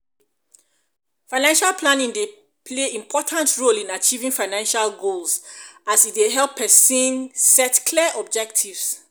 financial planning dey play important role in achieving financial goals as e dey help pesin set clear objectives.